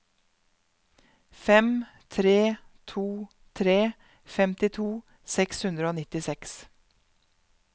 fem tre to tre femtito seks hundre og nittiseks